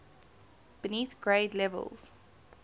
beneath grade levels